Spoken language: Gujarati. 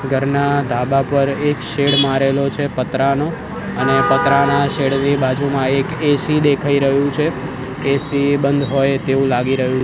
ઘરના ધાબા પર એક શેડ મારેલો છે પતરાનો અને પતરાના શેડ ની બાજુમાં એક એ_સી દેખાય રહ્યુ છે એ_સી બંઘ હોય તેવુ લાગી રહ્યુ --